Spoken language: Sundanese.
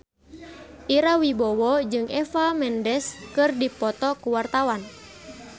Ira Wibowo jeung Eva Mendes keur dipoto ku wartawan